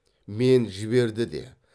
мен жіберді де